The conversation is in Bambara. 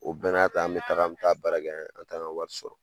O bɛɛ na ta, an be taga an be taa baara kɛ an t'an ka wari sɔrɔ.